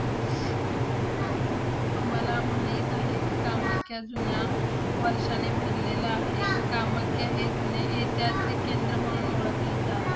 तुम्हाला माहित आहे? कामाख्या जुन्या वर्षाने भरलेलं आहे. कामाख्या हे जुने ऐतिहासिक केंद्र म्हणून ओळखलं जातं.